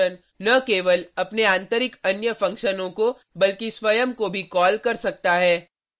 एक फंक्शन न केवल अपने आतंरिक अन्य फंक्शनों को बल्कि स्वयं को भी कॉल कर सकता है